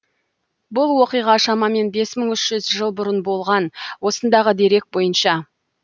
бұл оқиға шамамен бес мың үш жүз жыл бұрын болған осындағы дерек бойынша